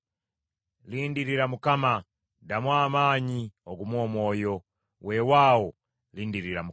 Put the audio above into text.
Lindirira Mukama . Ddamu amaanyi, ogume omwoyo. Weewaawo, lindirira Mukama .